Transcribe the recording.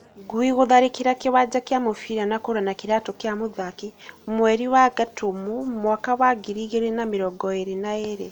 Ngui gũtharĩkĩra kĩwanja gĩa mũbira na kũra na kĩratu kĩa mũthaki, mweri wa Gatumu mwaka wa ngiri igĩrĩ na mĩrongo ĩrĩ na ĩrĩ